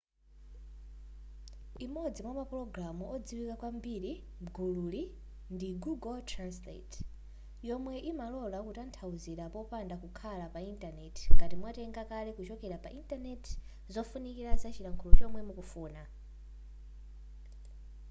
imodzi mwa mapulogalamu odziwika kwambiri m'gululi ndi google translate yomwe imalola kutanthauzira popanda kukhala pa intaneti ngati mwatenga kale kuchokera pa intanenti zofunikira zachilankhulo chomwe mukufuna